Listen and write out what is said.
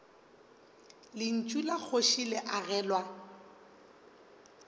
lentšu la kgoši le agelwa